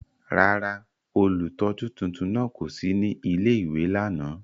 Rárá, ólutọju tuntun náa ko si ni ìlé-ìwé làná.